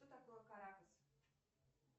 что такое каракас